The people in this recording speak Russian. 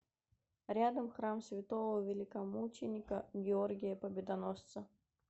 рядом храм святого великомученика георгия победоносца